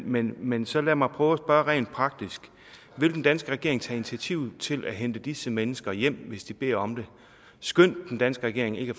men men så lad mig prøve at spørge rent praktisk vil den danske regering tage initiativ til at hente disse mennesker hjem hvis de beder om det skønt den danske regering ikke